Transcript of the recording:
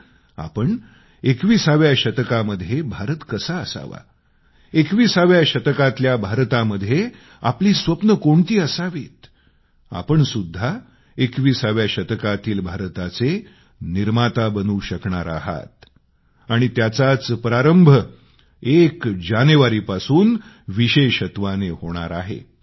तर आपण 21 व्या शतकामध्ये भारत कसा असावा 21 व्या शतकातल्या भारतामध्ये आपली स्वप्नं कोणती असावीत आपण सुद्धा 21व्या शतकातील भारताचे निर्माता बनू शकणार आहात आणि त्याचाच प्रारंभ एक जानेवारीपासून विशेषत्वाने होणार आहे